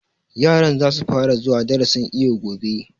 Yaran za su fara zuwa darasin iwo gobe